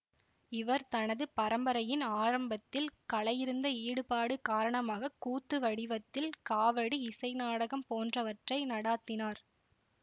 இவர் தனது பரம்பரையின் ஆரம்பத்தில் கலையிருந்த ஈடுபாடு காரணமாக கூத்து வடிவத்தில் காவடி இசை நாடகம் போன்றவற்றை நடாத்தினார்